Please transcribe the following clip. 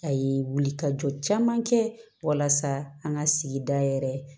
A ye wuli ka jɔ caman kɛ walasa an ka sigida yɛrɛ